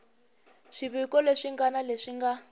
swiviko leswi ngana leswi nga